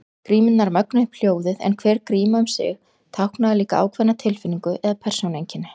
Grímurnar mögnuðu upp hljóðið en hver gríma um sig táknaði líka ákveðna tilfinningu eða persónueinkenni.